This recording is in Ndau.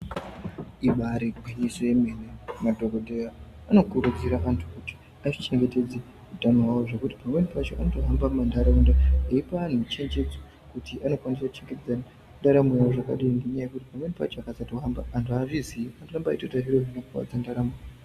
Ibaari gwinyiso yemene madhogodheya anokurudzira antu kuti azvichengetedze utano hwawo zvekuti pamweni pacho anotohamba mumandaraunda eipa antu michenjedzo kuti anokwanisa kuchengetedze ndaramo yawo zvakadii ngenyaya yekuti pamweni pacho akasatohamba, antu haazvizii, anotorambe eitoita zviro zvinokuwadza ndaramo.